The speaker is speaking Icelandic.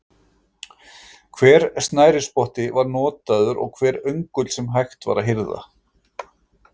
Hver snærisspotti var notaður og hver öngull sem hægt var að hirða.